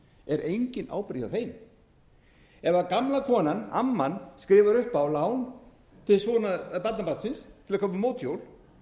er engin ábyrgð hjá þeim ef gamla konan amman skrifar upp á lán til barnabarnsins til að kaupa mótorhjól og hann